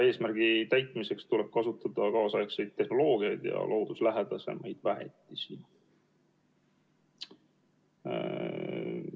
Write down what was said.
Eesmärgi täitmiseks tuleb kasutada kaasaegseid tehnoloogiaid ja looduslähedasemaid väetisi.